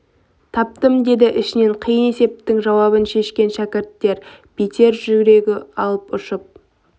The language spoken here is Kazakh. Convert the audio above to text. таптым деді ішінен қиын есептің жауабын шешкен шәкірттен бетер жүрегі алып ұшып